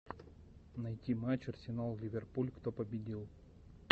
найти матч арсенал ливерпуль кто победил